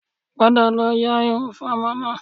Padà lọ ya irun fún ọmọ náà